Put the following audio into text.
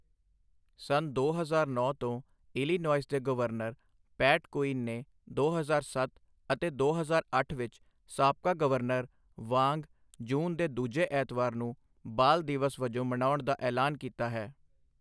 ਸੰਨ ਦੋ ਹਜ਼ਾਰ ਨੌਂ ਤੋਂ ਇਲੀਨੋਇਸ ਦੇ ਗਵਰਨਰ ਪੈਟ ਕੁਈਨ ਨੇ ਦੋ ਹਜ਼ਾਰ ਸੱਤ ਅਤੇ ਦੋ ਹਜ਼ਾਰ ਅੱਠ ਵਿੱਚ ਸਾਬਕਾ ਗਵਰਨਰ ਵਾਂਗ ਜੂਨ ਦੇ ਦੂਜੇ ਐਤਵਾਰ ਨੂੰ ਬਾਲ ਦਿਵਸ ਵਜੋਂ ਮਨਾਉਣ ਦਾ ਐਲਾਨ ਕੀਤਾ ਹੈ।